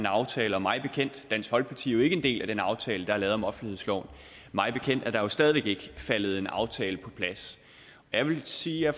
aftale mig bekendt er dansk folkeparti jo ikke en del af den aftale der er lavet om offentlighedsloven mig bekendt er der jo stadig væk ikke faldet en aftale på plads jeg vil sige at